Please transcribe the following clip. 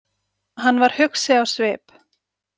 Hann var hugsi á svip.